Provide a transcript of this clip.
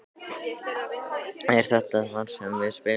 Er þetta þar sem við spilum?